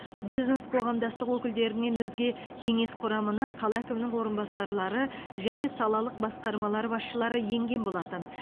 бизнес қоғамдастық өкілдерінен өзге кеңес құрамына қала әкімінің орынбасарлары және салалық басқармалар басшылары енген болатын